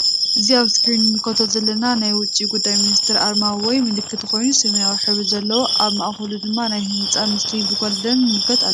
እዚ አብ እስክሪን እንምልከቶ ዘለና ናይ ውጪ ጉዳይ ሚኒስቴር አርማ ወይ ምልክት ኮይኑ ሰማያዊ ሕብሪ ዘለዎ አብ ማእከሉ ድማ ናይ ህንፃ ምስሊ ብጎልደን ንምልከት አለና::